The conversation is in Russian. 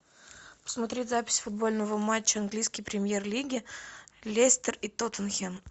посмотреть запись футбольного матча английской премьер лиги лестер и тоттенхэм